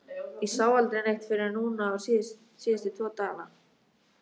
Ég sá aldrei neitt fyrr en núna síðustu tvo dagana